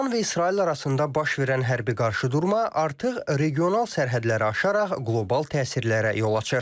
İran və İsrail arasında baş verən hərbi qarşıdurma artıq regional sərhədləri aşaraq qlobal təsirlərə yol açır.